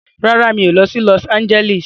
Rárá, mi ò lọ sí Lọs Ánjẹ́lísì.